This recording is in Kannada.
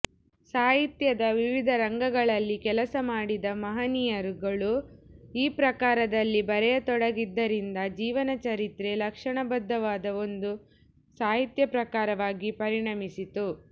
ಸಾಹಿತ್ಯದ ವಿವಿಧ ರಂಗಗಳಲ್ಲಿ ಕೆಲಸ ಮಾಡಿದ ಮಹನೀಯರುಗಳು ಈ ಪ್ರಕಾರದಲ್ಲಿ ಬರೆಯತೊಡಗಿದ್ದರಿಂದ ಜೀವನಚರಿತ್ರೆ ಲಕ್ಷಣಬದ್ಧವಾದ ಒಂದು ಸಾಹಿತ್ಯ ಪ್ರಕಾರವಾಗಿ ಪರಿಣಮಿಸಿತು